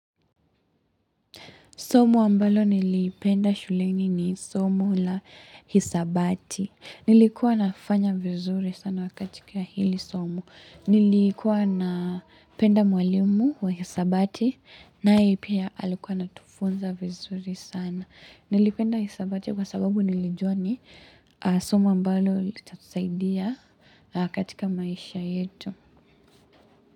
Somo ambalo niliipenda shuleni ni somo la hisabati. Nilikuwa nafanya vizuri sana katika hili somo. Nilikuwa na penda mwalimu wa hisabati naye pia alikuwa anatufunza vizuri sana. Nilipenda hisabati kwa sababu nilijua ni somo ambalo litatusaidia katika maisha yetu.